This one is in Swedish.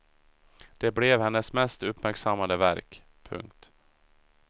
Det blev hennes mest uppmärksammade verk. punkt